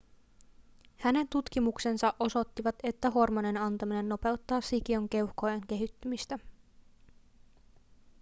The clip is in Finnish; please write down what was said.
hänen tutkimuksensa osoittivat että hormonin antaminen nopeuttaa sikiön keuhkojen kehittymistä